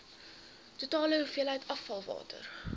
totale hoeveelheid afvalwater